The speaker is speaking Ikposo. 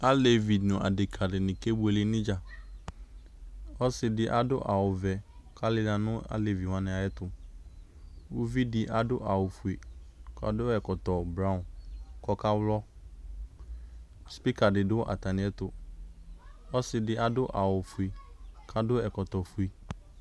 aleʋɩ nu adeka dɩnɩ ke buele nu ɩdja ɔsɩdɩ adu awu vɛ ku alɩla nu alevɩ yɛ tu uvɩdɩ adu awu fue ku adu ɛkɔtɔ blon ku ɔka xlɔ ɔsɩdɩ adu awu fue ku adu awu fue